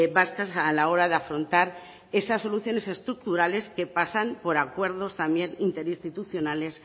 vascas a la hora de afrontar esas soluciones estructurales que pasan por acuerdos también interinstitucionales